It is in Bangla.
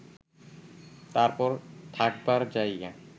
তারপর থাকবার জায়গা